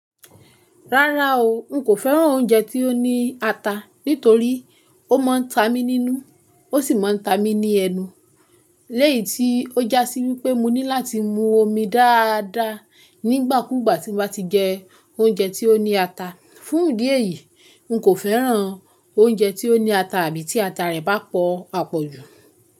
Rárá o, n kò féràn oúnjẹ tí ó ní ata, nítorí ó máa ń ta mí nínú, ó sì máa ń ta mi ní ẹnu, léyìí tí ó jásí wípé mo ní láti mu omi dáadáa nígbà kú gbà tí mo bá ti jẹ oúnjẹ tí ó ní ata. Fún ìdí èyí, n kò féràn oúnjẹ tí ó ní ata àbí tí ata rẹ̀ bá pọ̀ àpọ̀jù.